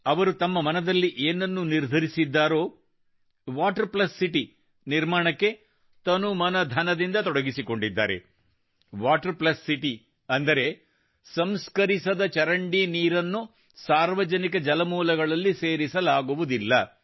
ಅವರು ತಮ್ಮ ಮನದಲ್ಲಿ ಏನನ್ನು ನಿರ್ಧರಿಸಿದ್ದಾರೋ ವಾಟರ್ ಪ್ಲಸ್ ಸಿಟಿ ನಿರ್ಮಾಣಕ್ಕೆ ತನುಮನಧನದಿಂದ ತೊಡಗಿಸಿಕೊಂಡಿದ್ದಾರೆ ವಾಟರ್ ಪ್ಲಸ್ ಸಿಟಿ ಅಂದರೆ ಸಂಸ್ಕರಿಸದ ಚರಂಡಿ ನೀರನ್ನು ಸಾರ್ವಜನಿಕ ಜಲಮೂಲಗಳಲ್ಲಿ ಸೇರಿಸಲಾಗುವುದಿಲ್ಲ